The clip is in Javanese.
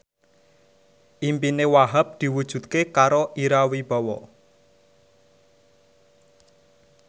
impine Wahhab diwujudke karo Ira Wibowo